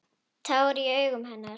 Tár í augum hennar.